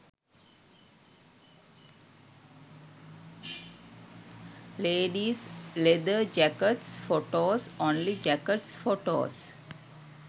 ladies leather jackets photos. only jackets photos